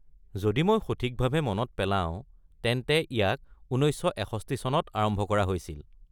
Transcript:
যদি মই সঠিকভাৱে মনত পেলাওঁ, তেন্তে ইয়াক ১৯৬১ চনত আৰম্ভ কৰা হৈছিল।